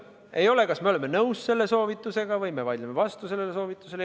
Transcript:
Ei ole kirjas, kas me oleme nõus selle soovitusega või me vaidleme vastu sellele soovitusele.